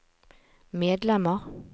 medlemmer